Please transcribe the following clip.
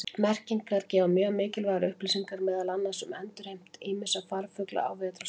Merkingar gefa mjög mikilvægar upplýsingar meðal annars um endurheimt ýmissa farfugla á vetrarstöðvum.